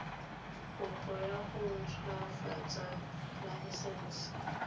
kopo ya go ntshwafatsa laesense